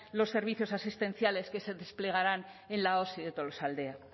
los servicios asistenciales que se desplegarán en la osi de tolosaldea